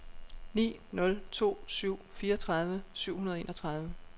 ni nul to syv fireogtredive syv hundrede og enogtredive